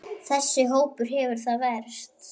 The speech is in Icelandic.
Þessi hópur hefur það verst.